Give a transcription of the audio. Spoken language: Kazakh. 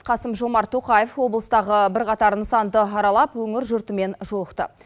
қасым жомарт тоқаев облыстағы бірқатар нысанды аралап өңір жұртымен жолықты